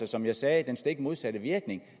som jeg sagde den stik modsatte virkning